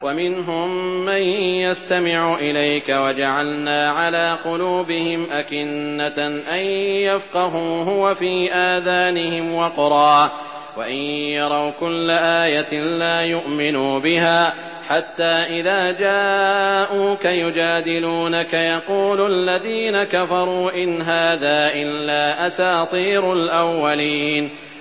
وَمِنْهُم مَّن يَسْتَمِعُ إِلَيْكَ ۖ وَجَعَلْنَا عَلَىٰ قُلُوبِهِمْ أَكِنَّةً أَن يَفْقَهُوهُ وَفِي آذَانِهِمْ وَقْرًا ۚ وَإِن يَرَوْا كُلَّ آيَةٍ لَّا يُؤْمِنُوا بِهَا ۚ حَتَّىٰ إِذَا جَاءُوكَ يُجَادِلُونَكَ يَقُولُ الَّذِينَ كَفَرُوا إِنْ هَٰذَا إِلَّا أَسَاطِيرُ الْأَوَّلِينَ